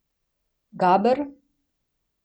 Gaber?